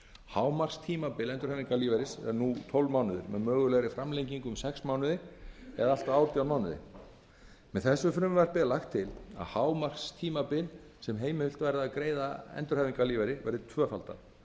hámarkstímabil endurhæfingarlífeyris er nú tólf mánuðir með mögulegri framlengingu um sex mánuði eða allt að átján mánuðir með þessu frumvarpi er lagt til að hámarkstímabil endurhæfingarlífeyris verði átján mánuðir en að unnt